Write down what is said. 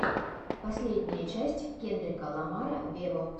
последняя часть кендрика ламара вево